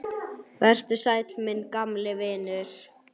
Vertu sæll, minn gamli vinur.